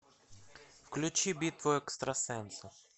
включи битву экстрасенсов